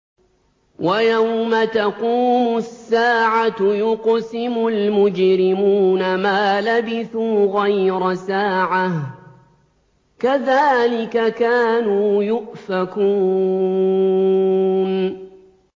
وَيَوْمَ تَقُومُ السَّاعَةُ يُقْسِمُ الْمُجْرِمُونَ مَا لَبِثُوا غَيْرَ سَاعَةٍ ۚ كَذَٰلِكَ كَانُوا يُؤْفَكُونَ